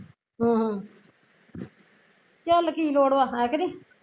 ਅਹ ਚੱਲ ਕੀ ਲੋੜ ਵਾਂ ਹੈ ਕਿ ਨਹੀਂ